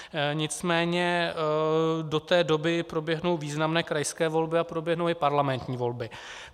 Nicméně do té doby proběhnou významné krajské volby a proběhnou i parlamentní volby.